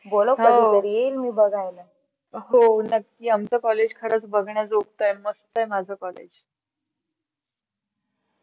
हो नक्की आमचा college खरच बघाजोगतं आहे, मस्त आहे माझ college